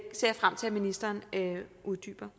frem til ministeren vil uddybe